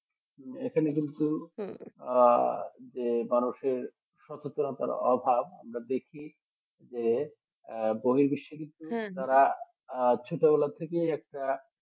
এখানে কিন্তু যে আহ মানুষের সচেতনতা অভাব আমরা দেখি যে য বই বেশি আহ ঠিক তারা ছোটবেলা থেকে যে একটা